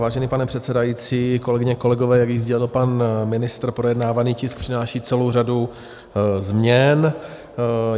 Vážený pane předsedající, kolegyně, kolegové, jak již sdělil pan ministr, projednávaný tisk přináší celou řadu změn.